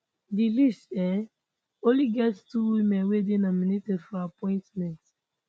di list um only get two women wey dey nominated for appointment